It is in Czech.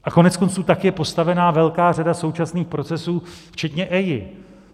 A koneckonců tak je postavena velká řada současných procesů včetně EIA.